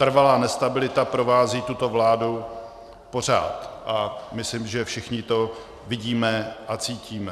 Trvalá nestabilita provází tuto vládu pořád a myslím, že všichni to vidíme a cítíme.